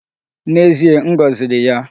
N'ezie, m goziri ya.